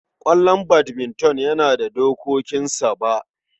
Ƙwallon badminton yana da dokokinsa. Ba